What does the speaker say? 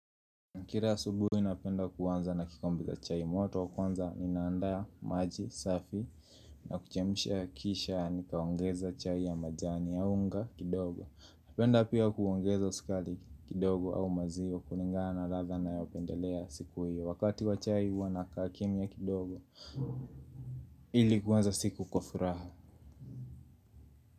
Kila asubuhi, napenda kuanza na kikombe cha chai moto, kwanza ninaandaa maji safi. Na kuchemsha kisha nikaongeza chai ya majani ya unga kidogo. Napenda pia kuongeza sukari kidogo au maziwa kulingana na ladha ninayopendelea siku hiyo. Wakati wa chai huwa nakaa kimya kidogo ili kuanza siku kwa furaha.